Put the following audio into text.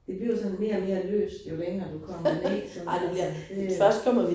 Det bliver sådan mere og mere løst jo længere du kommer ned sådan faktisk